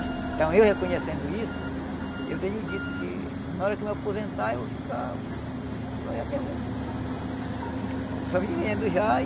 Então eu reconhecendo isso, eu tenho dito que na hora que eu me aposentar eu vou ficar só é mesmo só vivendo já.